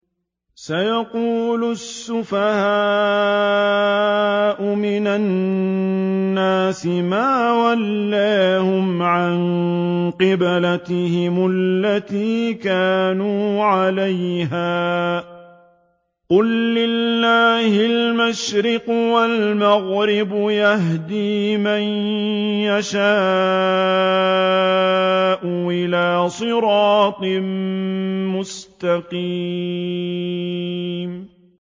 ۞ سَيَقُولُ السُّفَهَاءُ مِنَ النَّاسِ مَا وَلَّاهُمْ عَن قِبْلَتِهِمُ الَّتِي كَانُوا عَلَيْهَا ۚ قُل لِّلَّهِ الْمَشْرِقُ وَالْمَغْرِبُ ۚ يَهْدِي مَن يَشَاءُ إِلَىٰ صِرَاطٍ مُّسْتَقِيمٍ